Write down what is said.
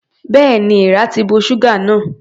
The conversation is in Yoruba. Bẹ́ẹ̀ni, èeàrà ti bo ṣúgà náà.